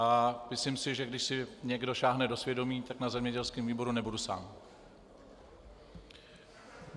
A myslím si, že když si někdo sáhne do svědomí, tak na zemědělském výboru nebudu sám.